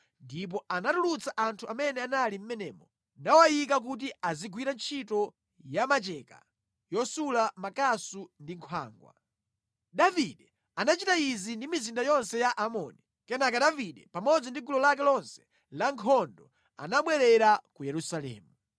ndipo anatulutsa anthu amene anali mʼmenemo, nawayika kuti azigwira ntchito ya macheka, yosula makasu ndi nkhwangwa. Davide anachita izi ndi mizinda yonse ya Aamoni. Kenaka Davide pamodzi ndi gulu lake lonse lankhondo anabwerera ku Yerusalemu.